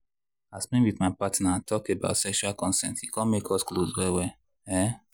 as me with my partner talk about sexual consent e come make us close well well. um